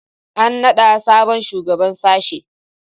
An naɗa sabon shugaban sashe